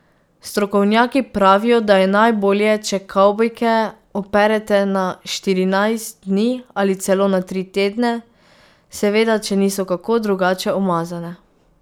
Strokovnjaki pravijo, da je najbolje, če kavbojke operete na štirinajst dni ali celo na tri tedne, seveda če niso kako drugače umazane.